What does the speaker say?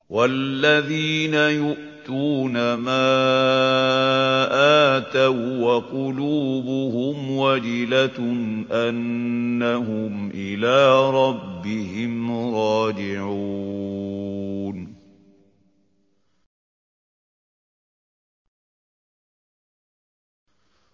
وَالَّذِينَ يُؤْتُونَ مَا آتَوا وَّقُلُوبُهُمْ وَجِلَةٌ أَنَّهُمْ إِلَىٰ رَبِّهِمْ رَاجِعُونَ